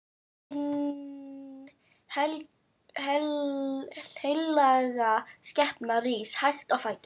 Hin heilaga skepna rís hægt á fætur.